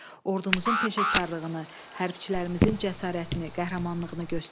Ordumuzun peşəkarlığını, hərbçilərimizin cəsarətini, qəhrəmanlığını göstərdi.